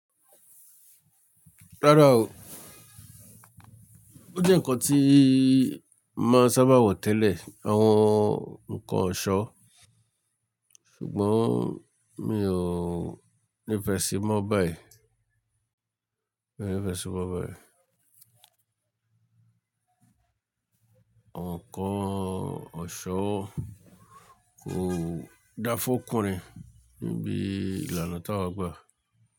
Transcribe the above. Rárá o, ó jẹ́ ǹkan tí máa sábà wọ tẹ́lẹ̀ àwọn ǹkan ọ̀ṣọ́, ṣùgbọ́n mi ò nífẹ̀ẹ́ sí i mọ́ báyìí. Mi ò nífẹ̀ẹ́ sí i mọ́ báyìí. Àwọn ǹkan ọ̀ṣọ́ kò dá fún ọkùnrin ni bí ìlànà tí àwa gbà.